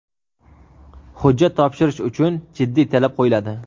Hujjat topshirish uchun jiddiy talab qo‘yiladi.